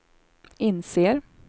inser